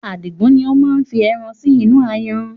Adigun ni ó máa fi ẹran sì inú ayanran